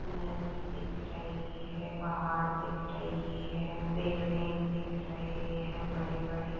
नदी दिख रही है पहाड़ दिख रही है पेडे दिख रहे है बड़े-बड़े--